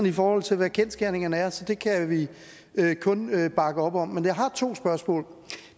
i forhold til hvad kendsgerningerne er så det kan vi kun bakke op om men jeg har to spørgsmål